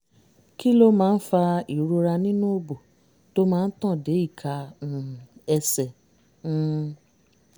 kí ló máa ń fa ìrora nínú òbò tó máa ń tàn dé ìka um ẹsẹ̀? um